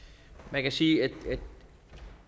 man kan sige at